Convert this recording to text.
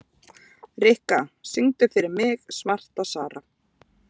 Rikka, syngdu fyrir mig „Svarta Sara“.